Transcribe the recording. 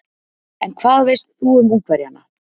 En hvað veist þú um Ungverjana?